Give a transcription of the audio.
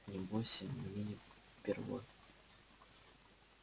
не бойся мне не впервой